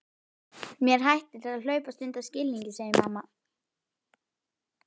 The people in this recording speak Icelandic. Mér hættir til að hlaupast undan skilningi, segir mamma.